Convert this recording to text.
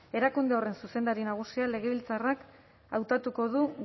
erakunde horren zuzendari nagusia legebiltzarrak hautatuko du